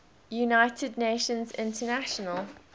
united nations international